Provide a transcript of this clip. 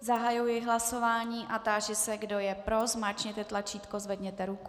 Zahajuji hlasování a táži se, kdo je pro, zmáčkněte tlačítko, zvedněte ruku.